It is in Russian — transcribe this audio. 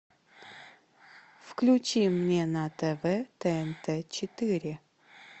включи мне на тв тнт четыре